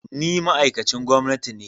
Ni ma'aikacin gwamnati ne